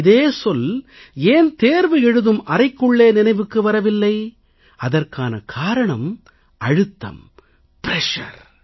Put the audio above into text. இதே சொல் ஏன் தேர்வு எழுதும் அறைக்குள்ளே நினைவுக்கு வரவில்லை அதற்கான காரணம் அழுத்தம் பிரஷர்